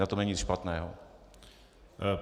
Na tom není nic špatného.